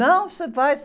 Não, você vai.